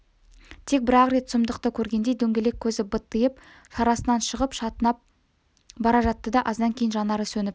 тек бір-ақ рет сұмдықты көргендей дөңгелек көзі быттиып шарасынан шығып шатынап бара жатты да аздан кейін жанары сөніп